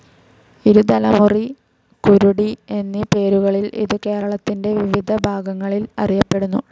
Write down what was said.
ഇരുതലമൂരി, കുരുടി എന്നീ പേരുകളിലും ഇത് കേരളത്തിന്റെ വിവിധഭാഗങ്ങളിൽ അറിയപ്പെടുന്നു.